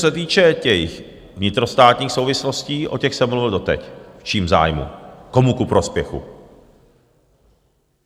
Co se týče těch vnitrostátních souvislostí, o těch jsem mluvil doteď, v čím zájmu, komu ku prospěchu.